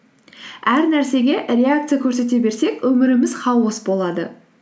әр нәрсеге реакция көрсете берсек өміріміз хаос болады